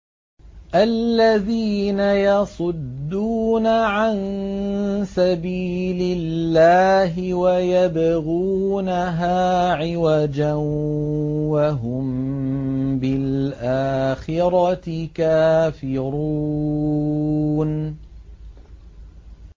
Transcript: الَّذِينَ يَصُدُّونَ عَن سَبِيلِ اللَّهِ وَيَبْغُونَهَا عِوَجًا وَهُم بِالْآخِرَةِ كَافِرُونَ